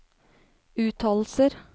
uttalelser